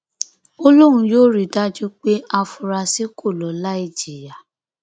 ó lóun yóò rí i dájú pé àfúráṣí kọ ló láì jìyà